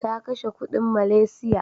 Ta kashe kuɗin Malaysia.